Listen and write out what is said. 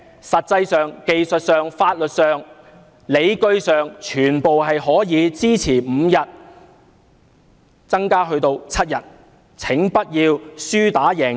實際上、技術上、法律上、理據上，全部也可以支持侍產假由5天增加至7天，請不要輸打贏要。